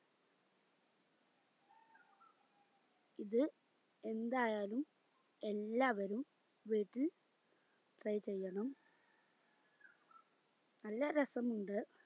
ഇത് എന്തായാലും എല്ലാവരും വീട്ടിൽ try ചെയ്യണം നല്ല രസമുണ്ട്